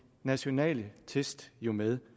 nationale test jo med